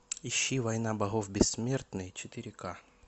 ищи война богов бессмертные четыре ка